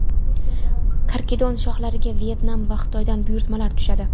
Karkidon shoxlariga Vyetnam va Xitoydan buyurtmalar tushadi.